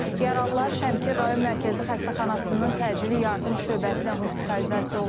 Yaralılar Şəmkir Rayon Mərkəzi Xəstəxanasının təcili yardım şöbəsinə hospitalizasiya olunublar.